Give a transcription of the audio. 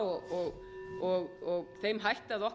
virðulegi forseti mér verður á að